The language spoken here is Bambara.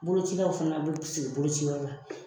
Bolocilaw fana be sigi boloci yɔrɔ la.